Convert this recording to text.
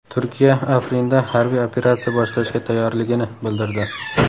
Turkiya Afrinda harbiy operatsiya boshlashga tayyorligini bildirdi.